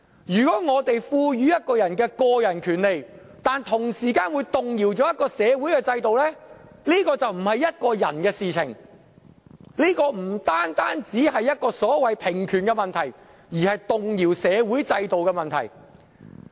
如果在賦予一個人個人權利時，會同時動搖一個社會制度的話，這就不是個人的事，也不單是所謂平權問題，而是動搖社會制度的問題。